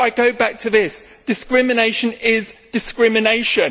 But I come back to this discrimination is discrimination.